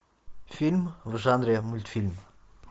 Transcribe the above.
фильм в жанре мультфильм